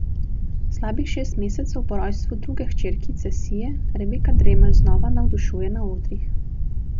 Slabih šest mesecev po rojstvu druge hčerkice Sije Rebeka Dremelj znova navdušuje na odrih.